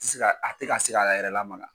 ti se ka a tɛ ka se k'a yɛrɛ lamaga.